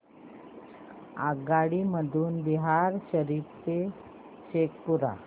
आगगाडी मधून बिहार शरीफ ते शेखपुरा